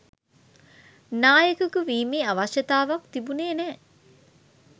නායකයකු වීමේ අවශ්‍යතාවක් තිබුණේ නැහැ.